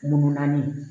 Munun naani